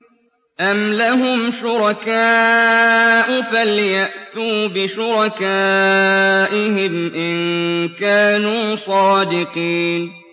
أَمْ لَهُمْ شُرَكَاءُ فَلْيَأْتُوا بِشُرَكَائِهِمْ إِن كَانُوا صَادِقِينَ